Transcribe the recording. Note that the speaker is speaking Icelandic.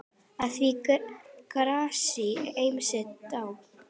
Að því grasi ýmsir dást.